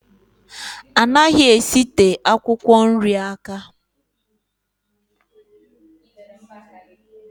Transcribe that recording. Anaghị esite akwụkwọ nri aka